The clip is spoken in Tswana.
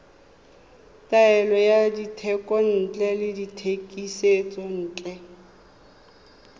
taolo ya dithekontle le dithekisontle